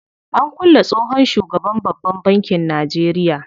An kulle tsohon shugaban babban bankin Najeria.